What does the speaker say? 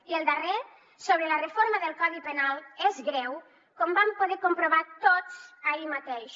i el darrer sobre la reforma del codi penal és greu com vam poder comprovar tots ahir mateix